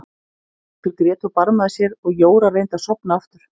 Einhver grét og barmaði sér og Jóra reyndi að sofna aftur.